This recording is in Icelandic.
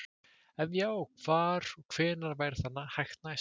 Ef já, hvar og hvenær væri það hægt næst?